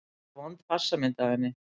Frekar vond passamynd af henni.